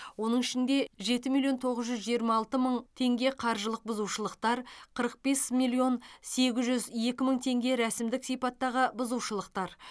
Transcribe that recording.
оның ішінде жеті миллион тоғыз жүз жиырма алты мың теңге қаржылық бұзушылықтар қырық бес миллион сегіз жүз екі мың теңге рәсімдік сипаттағы бұзушылықтар